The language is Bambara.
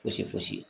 Fosi fosi